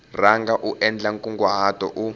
rhanga u endla nkunguhato u